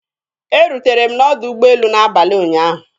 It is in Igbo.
Erutere m na ọdọ ụgbọelu n'abalị ụnyaahụ.